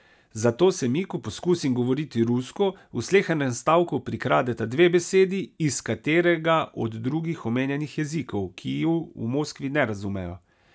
Zato se mi, ko poskusim govoriti rusko, v slehernem stavku prikradeta dve besedi iz katerega od drugih omenjenih jezikov, ki ju v Moskvi ne razumejo.